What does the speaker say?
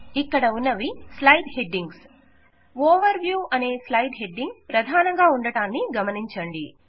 ఇక్కడ ఉన్నవి slide headings overview అనే స్లైడ్ హెడ్డింగ్ ప్రధానంగా ఉండడాన్ని గమనించండి